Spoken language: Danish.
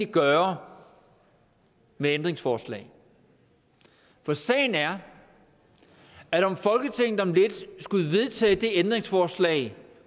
gøre med ændringsforslag for sagen er at om folketinget om lidt skulle vedtage det ændringsforslag